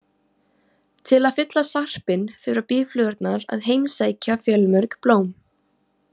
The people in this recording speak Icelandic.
Til að fylla sarpinn þurfa býflugurnar að heimsækja fjölmörg blóm.